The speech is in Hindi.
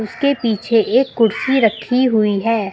उसके पीछे एक कुर्सी रखी हुई है।